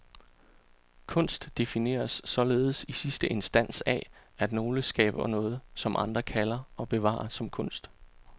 Kunst defineres således i sidste instans af, at nogle skaber noget, som andre kalder og bevarer som kunst.